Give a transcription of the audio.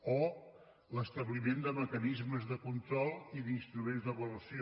o l’establiment de mecanismes de control i d’instruments d’avaluació